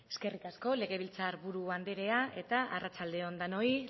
eskerrik asko legebiltzar buru andrea eta arratsalde on denoi